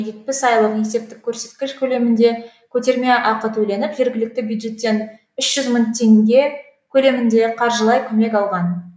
жетпіс айлық есептік көрсеткіш көлемінде көтерме ақы төленіп жергілікті бюджеттен үш жүз мың теңге көлемінде қаржылай көмек алған